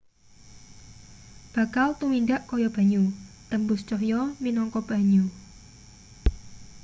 bakal tumindak kaya banyu tembus cahya minangka banyu